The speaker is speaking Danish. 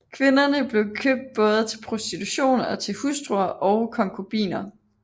Kvinderne bliver købt både til prostitution og til hustruer og konkubiner